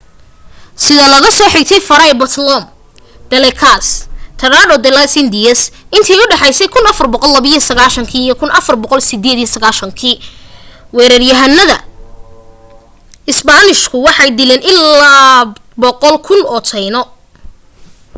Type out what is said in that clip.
sida laga soo xigtay fray bartolome de las casas tratado de las indias intii u dhexaysay 1492 iyo 1498 weeraryahanada isbaanishku waxay dileen illaa 100,000 oo taino